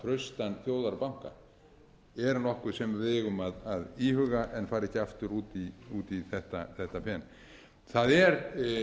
traustan þjóðarbanka er nokkuð sem við eigum að íhuga en fara ekki aftur út í þetta fen það er